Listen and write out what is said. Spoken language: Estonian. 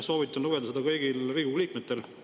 Soovitan lugeda seda kõigil Riigikogu liikmetel.